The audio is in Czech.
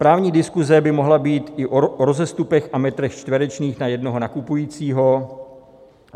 Právní diskuse by mohla být i o rozestupech a metrech čtverečních na jednoho nakupujícího.